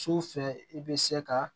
Su fɛ i bɛ se ka